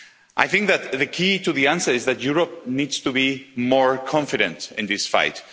I think that the key to the answer is that Europe needs to be more confident in this fight.